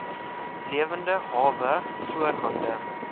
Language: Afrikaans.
lewende hawe voorhande